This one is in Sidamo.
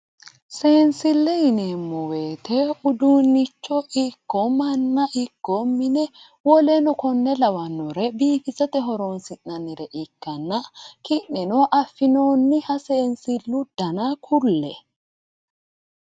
Seensile yineemmo woyte uduunicho ikko manna ikko mine woleno kone lawanore biifissate horonsi'nannire ikkanna ki'neno affinooniha seensilu dana ku'le !!